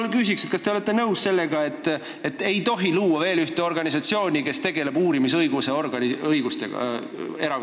Ma küsiks nii: kas te olete nõus sellega, et ei tohi luua veel ühte organisatsiooni, kellel oleks erakondadega tegelemisel uurimisorgani õigused?